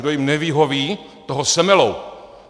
Kdo jim nevyhoví, toho semelou!